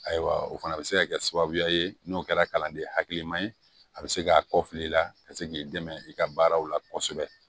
Ayiwa o fana bɛ se ka kɛ sababuya ye n'o kɛra kalanden hakiliman ye a bɛ se k'a kɔ fili i la ka se k'i dɛmɛ i ka baaraw la kosɛbɛ